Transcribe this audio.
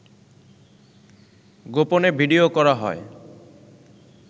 গোপনে ভিডিও করা হয়